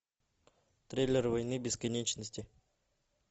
трейлер войны бесконечности